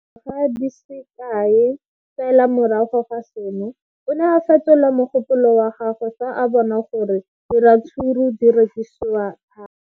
Le fa go le jalo, dingwaga di se kae fela morago ga seno, o ne a fetola mogopolo wa gagwe fa a bona gore diratsuru di rekisiwa thata.